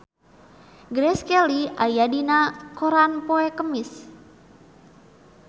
Grace Kelly aya dina koran poe Kemis